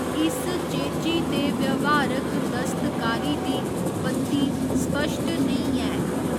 इस चेची ते व्यावहारक दस्तकारी दी उत्पत्ति स्पश्ट नेईं ऐ।